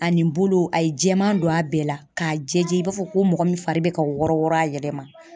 A nin bolo a ye jɛman don a bɛɛ la, k'a jɛ jɛ i b'a fɔ ko mɔgɔ min fari bɛ ka wɔrɔ wɔrɔ a yɛlɛma.